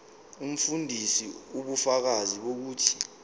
umfundisi ubufakazi bokuthi